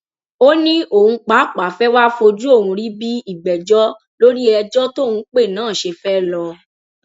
ó ní òun pàápàá fẹ wàá fojú òun rí bí ìgbẹjọ lórí ẹjọ tóun pè náà ṣe fẹẹ lọọ